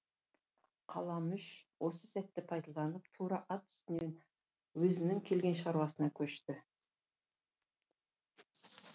қаламүш осы сәтті пайдаланып тура ат үстінен өзінің келген шаруасына көшті